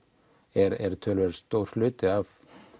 er töluvert stór hluti af